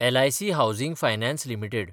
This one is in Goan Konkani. LIC housing finance limited